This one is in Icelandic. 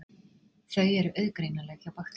Þau eru auðgreinanleg hjá bakteríum.